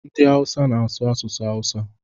Ndị Awụsa na-asụ asụsụ Hausa.